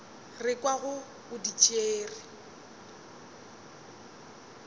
re kwago o di tšere